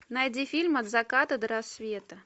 найди фильм от заката до рассвета